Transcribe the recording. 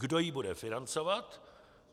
Kdo ji bude financovat?